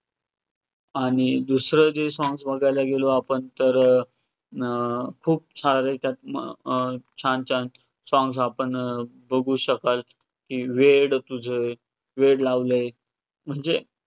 आणि दुसरे जे songs बघायला गेलो आपण तर अं अं खूप सारे त्यात अं छान छान songs आपण बघु शकाल की, 'वेड तुझे', 'वेड लावलय' म्हणजे